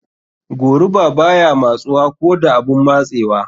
Goruba baya matsuwa ko da abun matsewa.